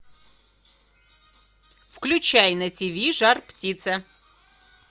включай на тв жар птица